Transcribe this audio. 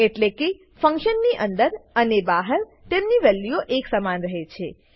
એટલેકે ફંક્શનની અંદર અને બહાર તેમની વેલ્યુઓ એક સમાન રહે છે